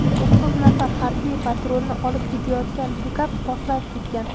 To‘qqiz nafar harbiy patrulni olib ketayotgan pikap portlab ketgan.